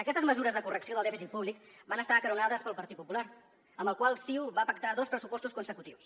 aquestes mesures de correcció del dèficit públic van estar acaronades pel partit popular amb el qual ciu va pactar dos pressupostos consecutius